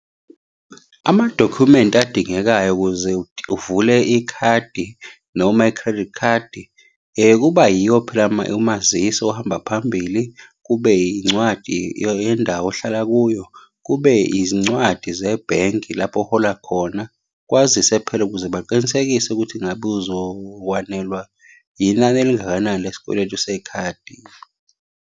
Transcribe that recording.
Amadokhumenti adingekayo ukuze uvule ikhadi noma i-credit card, kuba yiyo phela umazisi ohamba phambili. Kube yincwadi yendawo ohlala kuyo. Kube izincwadi zebhenki lapho ohola khona, kwazise phela ukuze baqinisekise ukuthi ngabe uzokwanelwa yinani elingakanani lesikweletu sekhadi.